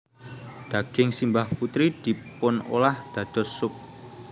Daging simbah putri dipunolah dados sup